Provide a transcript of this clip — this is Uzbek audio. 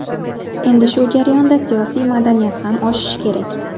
Endi shu jarayonda siyosiy madaniyat ham oshishi kerak.